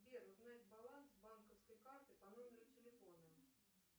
сбер узнать баланс банковской карты по номеру телефона